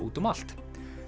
úti um allt